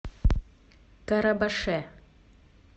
карабаше